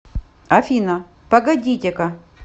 афина погодите ка